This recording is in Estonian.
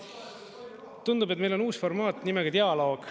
Tundub, et meil on uus formaat nimega dialoog.